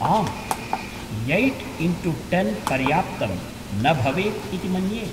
आम्, eight into ten पर्याप्तं न भवेत् इति मन्ये।